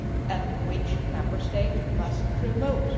and which Member States must promote.